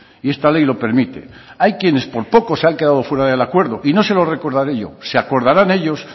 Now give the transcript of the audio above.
y esta ley lo permite hay quienes por poco se han quedado fuera del acuerdo y no se lo recordaré yo se acordarán ellos